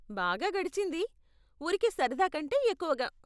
బాగా గడిచింది, ఊరికే సరదా కంటే ఎక్కువగా!